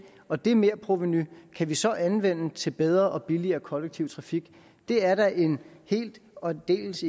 og det merprovenu kan vi så anvende til bedre og billigere kollektiv trafik det er da en helt og aldeles